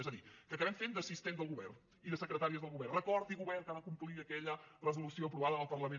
és a dir que acabem fent d’assistents del govern i de secretàries del govern recordi govern que ha de complir aquella resolució aprovada en el parlament